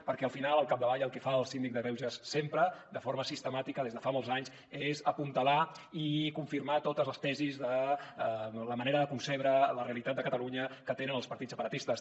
perquè al final al capdavall el que fa el síndic de greuges sempre de forma sistemàtica des de fa molts anys és apuntalar i confirmar totes les tesis la manera de concebre la realitat de catalunya que tenen els partits separatistes